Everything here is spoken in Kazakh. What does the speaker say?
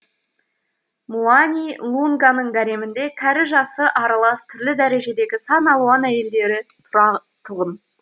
муани лунганың гаремінде кәрі жасы аралас түрлі дәрежедегі сан алуан әйелдері тұратұғын